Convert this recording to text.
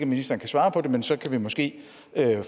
ministeren kan svare på det men så kan vi måske